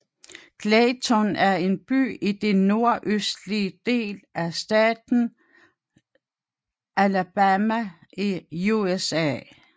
Clayton er en by i den sydøstlige del af staten Alabama i USA